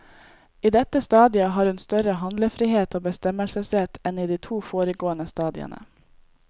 I dette stadiet har hun større handlefrihet og bestemmelsesrett enn i de to foregående stadiene.